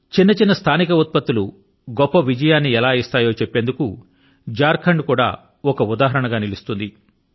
చిన్న చిన్న స్థానిక ఉత్పత్తులు గొప్ప విజయాన్ని ఎలా ఇస్తాయో చెప్పేందుకు ఝార్ ఖండ్ కూడా ఒక ఉదాహరణ గా నిలుస్తుంది